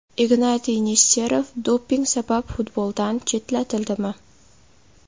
Ignatiy Nesterov doping sabab futboldan chetlatildimi?.